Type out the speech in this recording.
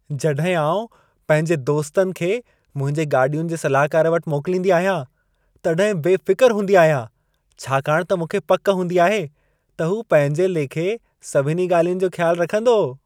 जॾहिं आउं पंहिंजे दोस्तनि खे मुंहिंजे गाॾियुनि जे सलाहकार वटि मोकिलींदी आहियां, तॾहिं बेफ़िक़र हूंदी आहियां। छाकाणि त मूंखे पक हूंदी आहे, त हू पंहिंजे लेखे सभिनी ॻाल्हियुनि जो ख़्यालु रखंदो।